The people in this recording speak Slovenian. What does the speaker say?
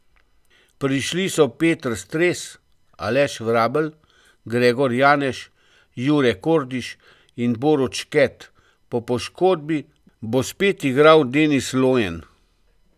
Prišli so Peter Stres, Aleš Vrabel, Gregor Janeš, Jure Kordiš in Borut Šket, po poškodbi bo spet igral Denis Lojen.